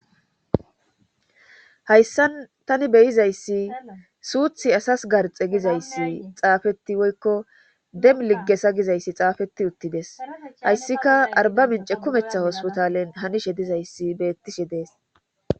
hayssa tani beyizayssi suuthi asas garxe gizayssi xaafeti woykko dem ligge sagizayssi xaafeti uttides hayssika arba mince kumetha hospotalen hanishe dizayssi beettishe dees